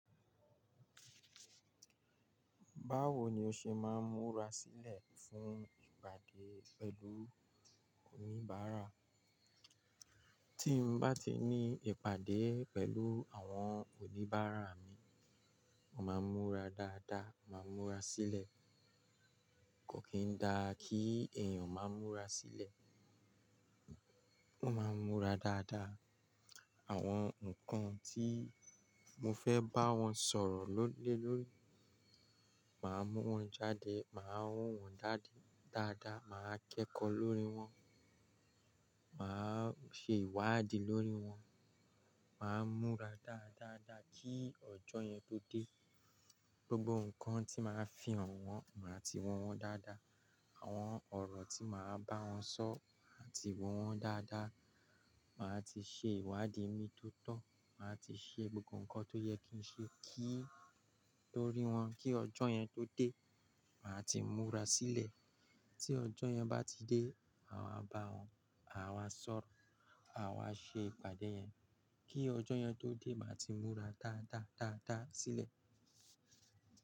Báwo ni o ṣe máa ń múra sílẹ̀ fún ìpàdé pẹ̀lú oníbàárà? Tí n bá ti ní ìpàdé pẹ̀lú àwọn oníbàárà mi, màá múra dáadáa, màá múra sílẹ̀. Kò kí i dá kí èèyàn máa ń múra sílẹ̀. Màá múra dáadáa. Àwọn nǹkan tí mo fẹ́ bá wọn sọ̀rọ̀ lónìí lónìí, màá mú wọn jáde, màá ro wọ́n dáadáa, màá kẹ́kọ̀ọ́ lórí wọn, màá ṣe ìwádìí lórí wọn, màá múra dáadáa, kí ọjọ́ yẹn tó dé. Gbogbo nǹkan tí màá fi hàn wọ́n, màá ti wo wọ́n dáadáa. Àwọn ọ̀rọ̀ tí màá bá wọn sọ, màá ti wo wọ́n dáadáa. Màá ti ṣe ìwádìí mi tó tọ́, màá ti ṣe gbogbo nǹkan tó yẹ kí n ṣe lórí wọn kí ọjọ́ yẹn tó dé. Màá ti múra sílẹ̀. Tí ọjọ́ yẹn bá ti dé, àwa bá wọn, àwa sọ̀rọ̀, àwa ṣe ìpàdé yẹn. Kí ọjọ́ yẹn tó dé, màá ti múra dáadáa, dáadáa sílẹ̀.